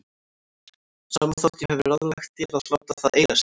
Sama þótt ég hafi ráðlagt þér að láta það eiga sig.